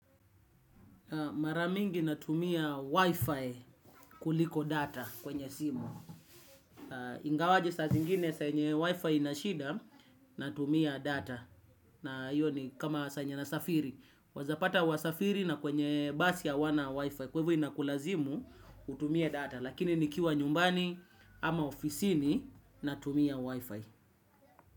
Maramingi natumia Wi-Fi kuliko data kwenye simu. Ingawaje sazingine saa yenye Wi-Fi inashida, natumia data. Na hiyo ni kama saa yenye nasafiri. Waezapata wasafiri na kwenye basi hawana Wi-Fi. Kwa hivyo inakulazimu utumie data. Lakini nikiwa nyumbani ama ofisini, natumia Wi-Fi.